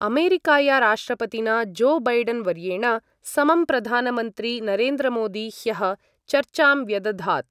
अमेरिकाया राष्ट्रपतिना जो बैडन्वर्येण समं प्रधानमन्त्री नरेन्द्रमोदी ह्यः चर्चां व्यदधात्।